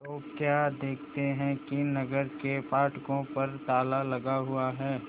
तो क्या देखते हैं कि नगर के फाटकों पर ताला लगा हुआ है